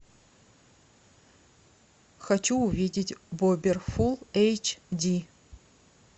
хочу увидеть бобер фул эйч ди